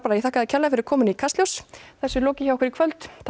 ég þakka þér kærlega fyrir komuna í Kastljós þessu er lokið hjá okkur í kvöld takk